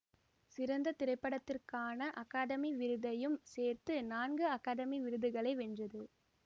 சிறந்த திரைப்படத்திற்கான அகாதமி விருதையும் சேர்த்து நான்கு அகாதமி விருதுகளை வென்றது